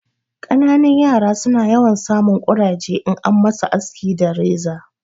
Ƙananan yara su na yawan sa mun ƙuraje in an ma su aski da reza